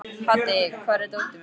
Haddi, hvar er dótið mitt?